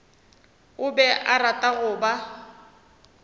be a rata go ba